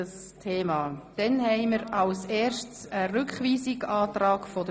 Danach behandeln wir den Rückweisungsantrag BDP Etter.